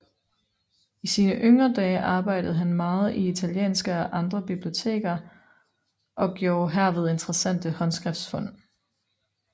I sine yngre dage arbejdede han meget i italienske og adre biblioteker og gjorde herved interessante håndskriftfund